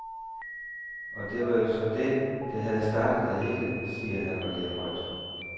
Og det var jo så det, der havde startet det hele, siger han og ler højt.